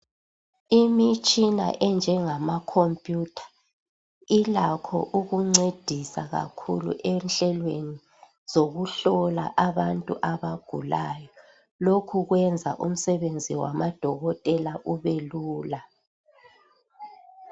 Imitshina enjengama khompiyutha ilakho ukuncedisa kakhulu enhlelweni zokuhlola abantu abagulayo .Lokhu kwenza umsebenzi wamadokotela ubelula.